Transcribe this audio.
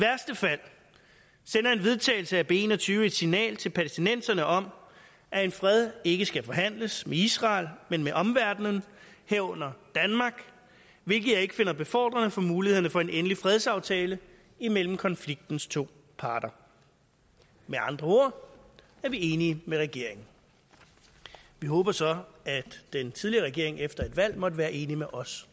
vedtagelse af b en og tyve et signal til palæstinenserne om at en fred ikke skal forhandles med israel men med omverdenen herunder danmark hvilket jeg ikke finder befordrende for mulighederne for en endelig fredsaftale imellem konfliktens to parter med andre ord er vi enige med regeringen vi håber så at den tidligere regering efter et valg stadig måtte være enig med os